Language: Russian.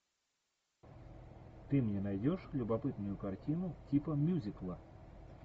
ты мне найдешь любопытную картину типа мюзикла